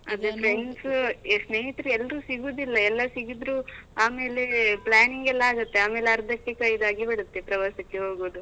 ಅದೆ friends , ಸ್ನೇಹಿತರು ಎಲ್ರು ಸಿಗುದಿಲ್ಲಾ, ಎಲ್ಲಾ ಸಿಗಿದ್ರೂ ಆಮೇಲೆ planning ಎಲ್ಲಾ ಆಗುತ್ತೆ ಆಮೇಲೆ ಅರ್ಧಕ್ಕೆ ಕೈದಾಗಿ ಬಿಡುತ್ತೆ ಪ್ರವಾಸಕ್ಕೆ ಹೋಗುದು.